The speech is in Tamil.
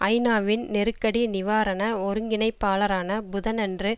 ஐநாவின் நெருக்கடி நிவாரண ஒருங்கிணைப்பாளரான புதனன்று